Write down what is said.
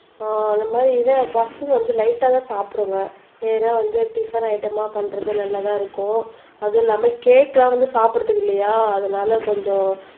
அந்தமாரி இது ஃபர்ஸ்ட் வந்து லைட்டா தான் சாப்பிடுவேன் ஏன்னா வந்து டிபன் ஐட்டம் ஆ பண்றது நல்லாதான் இருக்கும் அது இல்லாம கேக் எல்லாம் வந்து சாப்பிடறதுக்கு இல்லையா அதனால கொஞ்சம்